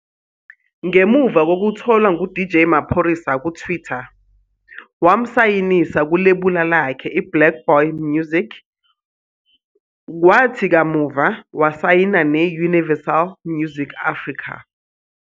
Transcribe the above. Ngemuva kokutholwa nguDJ Maphorisa kuTwitter, wamsayinisa kulebula lakhe iBlaqBoy Music, kwathi kamuva wasayina ne- Universal Music Africa.